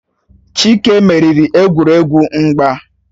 Chike meriri egwuregwu mgba